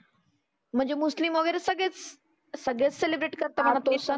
म्हणजे मुस्लीम वगैरे सगळेच. सगळेच सेलीब्रेट करतात आपले सण.